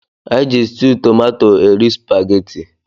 Eji stewwu tomato eri supaghetti.